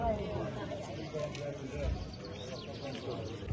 Allah əsgərlərimizə, qazilərimizə can sağlığı versin.